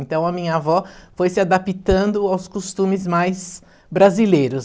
Então a minha avó foi se adaptando aos costumes mais brasileiros.